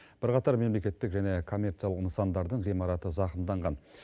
бірқатар мемлекеттік және коммерциялық нысандардың ғимараты зақымданған